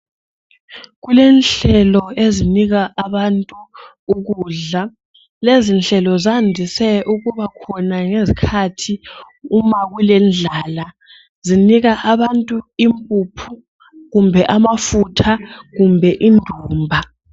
Kulenhlelo ezinika abantu ukudla. Lezi nhlelo zandise ukuba khona ngezikhathi uma kulendlala. Zinika abantu impuphu kumbe amafutha kumbe indumba